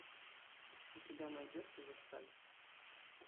у тебя найдется версаль